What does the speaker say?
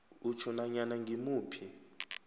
utjho nanyana ngimuphi